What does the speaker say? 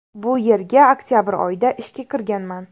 Bu yerga oktabr oyida ishga kirganman.